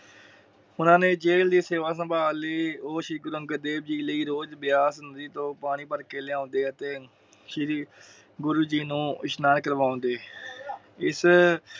ਓਹਨਾ ਨੇ ਦੇਗ ਦੀ ਸੇਵਾ ਸੰਭਾਲ ਲਈ। ਉਹ ਸ਼੍ਰੀ ਗੁਰੂ ਅੰਗਦ ਦੇਵ ਜੀ ਲਈ ਰੋਜ ਵਿਆਸ ਨਦੀ ਤੋਂ ਪਾਣੀ ਭਰ ਕੇ ਲਿਓਂਦੇ ਅਤੇ ਸ਼੍ਰੀ ਗੁਰੂ ਜੀ ਨੂੰ ਇਸਨਾਨ ਕਾਰਬਾਉਂਦੇ। ਇਸ